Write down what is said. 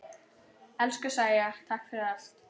Elsku Sæja, takk fyrir allt.